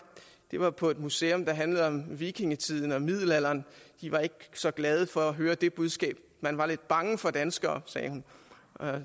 det var på et museum der handlede om vikingetiden og middelalderen de var ikke så glade for at høre det budskab man var lidt bange for danskere sagde hun